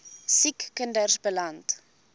siek kinders beland